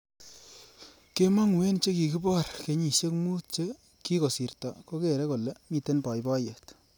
Kemongu eng chekikibor kenyisiek mut che kekisorto kokere kole mitei boiboiyet